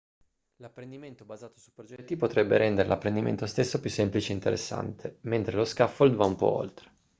l'apprendimento basato su progetti dovrebbe rendere l'apprendimento stesso più semplice e interessante mentre lo scaffold va un po' oltre